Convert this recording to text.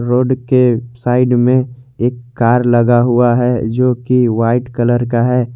Road के side में एक कार लगा हुआ है जो की वाइट कलर का है।